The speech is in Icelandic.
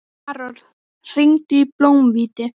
Karol, hringdu í Blómhvíti.